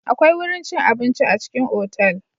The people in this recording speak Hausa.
Akwai wurin cin abinci a cikin otal.